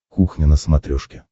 кухня на смотрешке